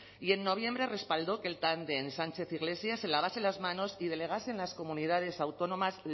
y en noviembre respaldó que el tándem sánchez iglesias se lavasen las manos y delegasen en las comunidades autónomas